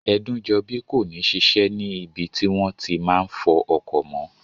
Ẹdúnjọbí kò ní ṣiṣẹ́ ní ibi tí wọ́n ti máa n fọ ọkọ̀ mọ́